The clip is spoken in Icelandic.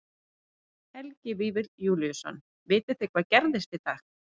Helgi Vífill Júlíusson: Vitið þið hvað gerðist í dag?